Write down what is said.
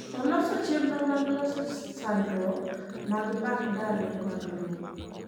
oloso chenro mag loso sandruok mag mbak ndalo mag lowo